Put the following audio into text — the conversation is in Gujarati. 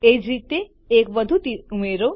એ જ રીતે એક વધુ તીર ઉમેરો